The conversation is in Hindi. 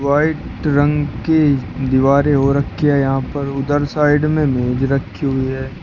व्हाइट रंग के दीवारें हो रखी है यहां पर उधर साइड में मेज रखी हुई है।